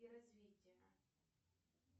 и развития